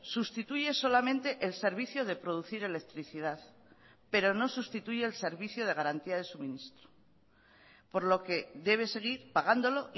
sustituye solamente el servicio de producir electricidad pero no sustituye el servicio de garantía de suministro por lo que debe seguir pagándolo